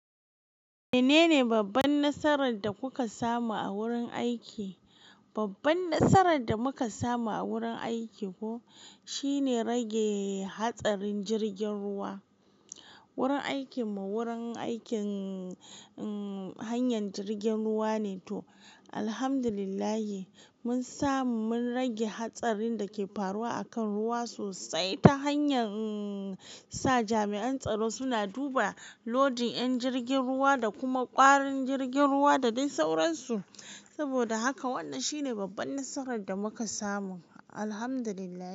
Menene babban nasarar da kuka samu a wurin aiki? Babban nasarar da muka samu a wurin aiki ko shine rage hatsarin jirgin ruwa. Wurin aikinmu wurin aikin, umm, hanyar jirgin ruwa ne toh. Alhamdulillahi, mun samu mun rage hatsarin da ke faruwa a kan ruwa sosai ta hanyar, umm, sa jami'an tsaro suna duba lodin 'yan jirgin ruwa da kuma ƙwarin jirgin ruwa da dai sauransu. Saboda haka wannan shine babban nasarar da muka samu. Alhamdulillahi.